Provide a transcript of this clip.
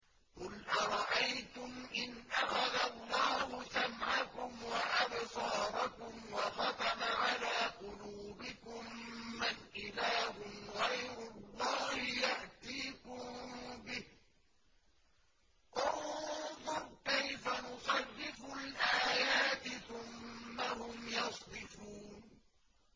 قُلْ أَرَأَيْتُمْ إِنْ أَخَذَ اللَّهُ سَمْعَكُمْ وَأَبْصَارَكُمْ وَخَتَمَ عَلَىٰ قُلُوبِكُم مَّنْ إِلَٰهٌ غَيْرُ اللَّهِ يَأْتِيكُم بِهِ ۗ انظُرْ كَيْفَ نُصَرِّفُ الْآيَاتِ ثُمَّ هُمْ يَصْدِفُونَ